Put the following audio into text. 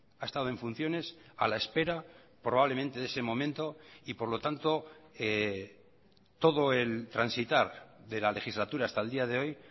ha estado en funciones a la espera probablemente de ese momento y por lo tanto todo el transitar de la legislatura hasta el día de hoy